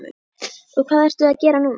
Og hvað ertu að gera núna?